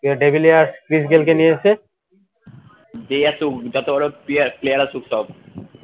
de villierschris Gayle কে নিয়েছে, যতবড় player আসুক সব